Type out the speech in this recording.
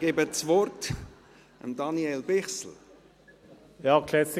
Ich erteile Daniel Bichsel das Wort.